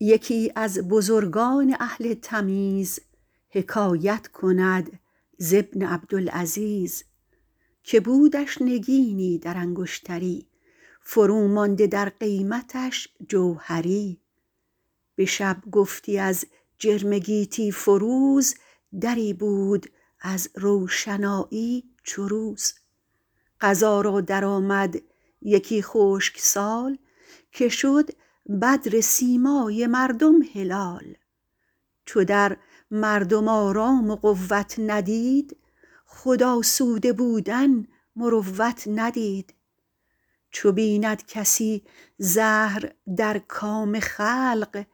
یکی از بزرگان اهل تمیز حکایت کند ز ابن عبدالعزیز که بودش نگینی در انگشتری فرو مانده در قیمتش جوهری به شب گفتی از جرم گیتی فروز دری بود از روشنایی چو روز قضا را درآمد یکی خشک سال که شد بدر سیمای مردم هلال چو در مردم آرام و قوت ندید خود آسوده بودن مروت ندید چو بیند کسی زهر در کام خلق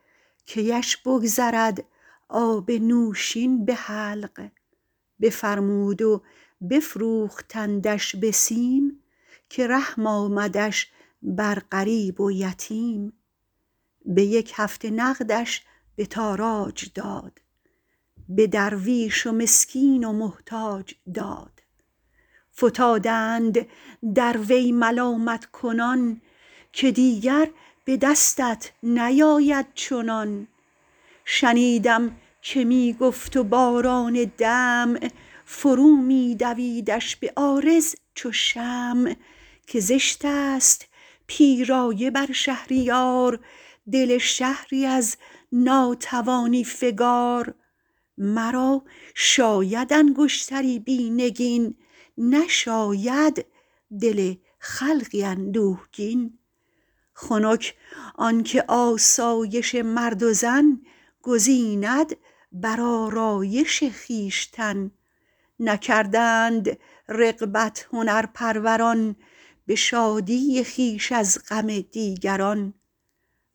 کیش بگذرد آب نوشین به حلق بفرمود و بفروختندش به سیم که رحم آمدش بر غریب و یتیم به یک هفته نقدش به تاراج داد به درویش و مسکین و محتاج داد فتادند در وی ملامت کنان که دیگر به دستت نیاید چنان شنیدم که می گفت و باران دمع فرو می دویدش به عارض چو شمع که زشت است پیرایه بر شهریار دل شهری از ناتوانی فگار مرا شاید انگشتری بی نگین نشاید دل خلقی اندوهگین خنک آن که آسایش مرد و زن گزیند بر آرایش خویشتن نکردند رغبت هنرپروران به شادی خویش از غم دیگران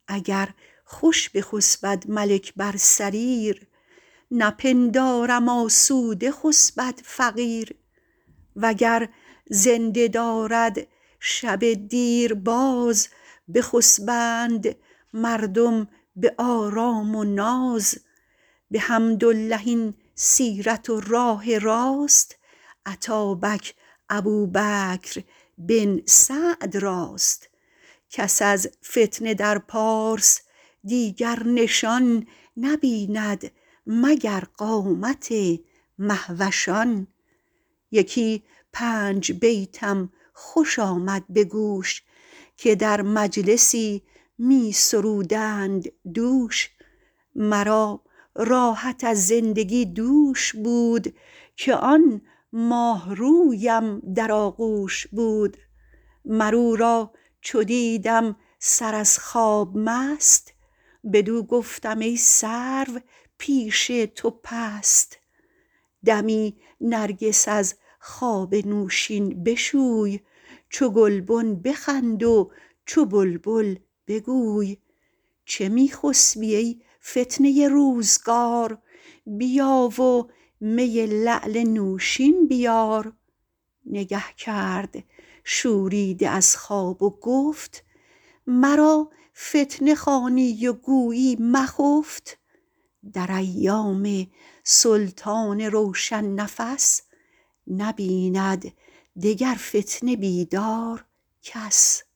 اگر خوش بخسبد ملک بر سریر نپندارم آسوده خسبد فقیر وگر زنده دارد شب دیر باز بخسبند مردم به آرام و ناز بحمدالله این سیرت و راه راست اتابک ابوبکر بن سعد راست کس از فتنه در پارس دیگر نشان نبیند مگر قامت مهوشان یکی پنج بیتم خوش آمد به گوش که در مجلسی می سرودند دوش مرا راحت از زندگی دوش بود که آن ماهرویم در آغوش بود مر او را چو دیدم سر از خواب مست بدو گفتم ای سرو پیش تو پست دمی نرگس از خواب نوشین بشوی چو گلبن بخند و چو بلبل بگوی چه می خسبی ای فتنه روزگار بیا و می لعل نوشین بیار نگه کرد شوریده از خواب و گفت مرا فتنه خوانی و گویی مخفت در ایام سلطان روشن نفس نبیند دگر فتنه بیدار کس